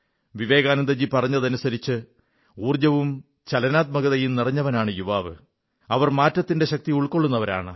വിവേകാനന്ദജി പറഞ്ഞതനുസരിച്ച് ഊർജ്ജവും ചലനാത്മകതയും നിറഞ്ഞവരാണ് യുവാക്കൾ അവർ മാറ്റത്തിന്റെ ശക്തി ഉൾക്കൊള്ളുന്നവരാണ്